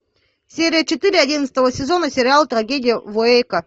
серия четыре одиннадцатого сезона сериал трагедия в уэйко